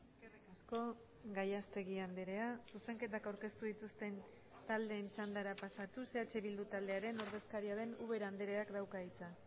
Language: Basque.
eskerrik asko gallastegui andrea zuzenketak aurkeztu dituzten taldeen txandara pasatuz eh bildu taldearen ordezkaria den ubera andreak dauka hitza